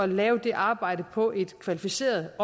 lave det arbejde på en kvalificeret